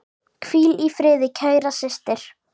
Hvíl í friði, kæra systir.